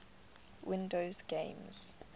windows games